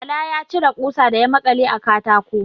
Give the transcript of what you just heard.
Bala ya cire ƙusa da ya maƙale a katako.